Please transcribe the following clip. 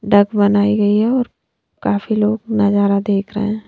Duck बनाई गई है और काफी लोग नजारा देख रहे हैं।